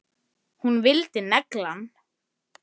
Gakktu ekki að opinu.